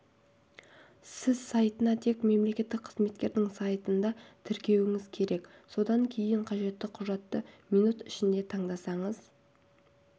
сіз сайтына тек мемлекеттік қызметтердің сайтында тіркелуіңіз керек содан кейін қажетті құжатты минут ішінде таңдасаңыз